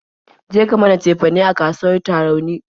Je ka mana cefane a kasuwar Tarauni!